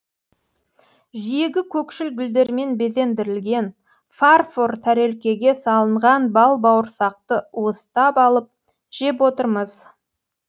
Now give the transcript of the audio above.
жиегі көкшіл гүлдермен безендірілген фарфор тәрелкеге салынған бал бауырсақты уыстап алып жеп отырмыз